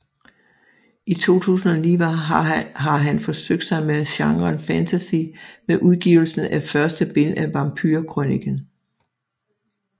I 2009 har han forsøgt sig med genren fantasy med udgivelsen af første bind af Vampyrkrøniken